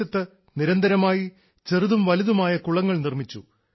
പ്രദേശത്ത് നിരന്തരമായി ചെറുതും വലുതുമായ കുളങ്ങൾ നിർമ്മിച്ചു